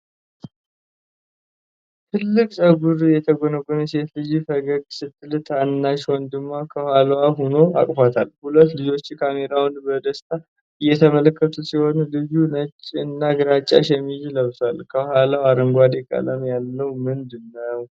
ትልቅ ጸጉር የተጎነጎነች ሴት ልጅ ፈገግ ስትል ታናሽ ወንድሟ ከኋላዋ ሆኖ አቅፏታል። ሁለቱ ልጆች ካሜራውን በደስታ እየተመለከቱ ሲሆን፣ ልጁ ነጭ እና ግራጫ ሸሚዝ ለብሷል። ከኋላቸው አረንጓዴ ቀለም ያለው ምንድነው?